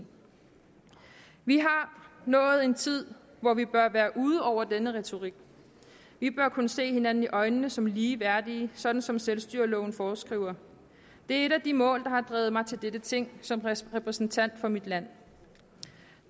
vi har nået en tid hvor vi bør være ude over denne retorik vi bør kunne se hinanden i øjnene som lige værdige sådan som selvstyreloven foreskriver det er et af de mål der har drevet mig til dette ting som repræsentant for mit land